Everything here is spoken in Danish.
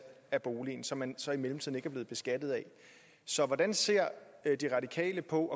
af boligen og som man så i mellemtiden ikke er blevet beskattet af så hvordan ser radikale på